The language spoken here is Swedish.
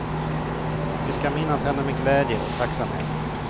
Vi ska minnas henne med glädje och tacksamhet.